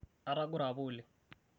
atagore apa oleng